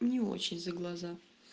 не очень за глаза